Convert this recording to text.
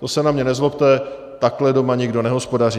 To se na mě nezlobte, takhle doma nikdo nehospodaří.